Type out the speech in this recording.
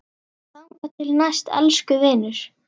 Þangað til næst, elsku vinur.